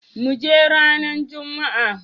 Muje ranan jumma.